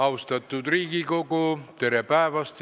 Austatud Riigikogu, tere päevast!